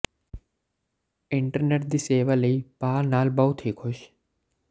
internet ਦੀ ਸੇਵਾ ਲਈ ਭਾਅ ਨਾਲ ਬਹੁਤ ਹੀ ਖੁਸ਼